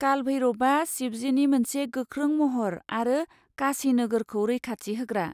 काल भैरभआ शिबजिनि मोनसे गोख्रों महर आरो काशी नोगोरखौ रैखाथि होग्रा।